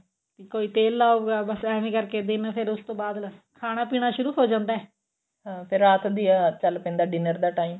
ਕੋਈ ਤੇਲ ਲਾਉਗਾ ਬੱਸ ਐਵੇਂ ਕਰਕੇ ਦਿਨ ਫੇਰ ਉਸਤੋਂ ਬਾਅਦ ਲੈ ਖਾਣਾ ਪੀਣਾ ਸ਼ੁਰੂ ਹੋ ਜਾਂਦਾ ਅਹ ਫਿਰ ਰਾਤ ਦੀਆਂ ਚੱਲ ਪੈਂਦਾ dinner ਦਾ time